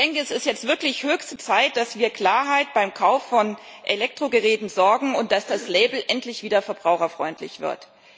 Es ist jetzt wirklich höchste Zeit, dass wir für Klarheit beim Kauf von Elektrogeräten sorgen und dass das Label endlich wieder verbraucherfreundlich wird.